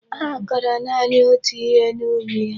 Ha koro naanị otú ihe n'ubi ha.